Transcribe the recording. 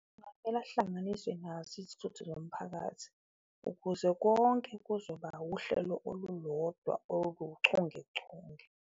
Kungamele ahlanganisiwe nazo izithuthi zomphakathi ukuze konke kuzoba wuhlelo olulodwa oluchungechunge.